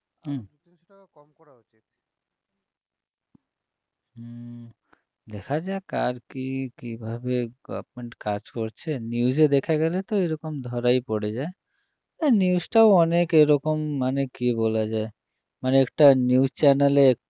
দেখা যাক আর কি কিভাবে goverment কাজ করছে news এ দেখা গেলে তো এরকম ধরাই পড়ে যায় এ news টাও অনেক এরকম মানে কী বলা যায় মানে একটা news channel এ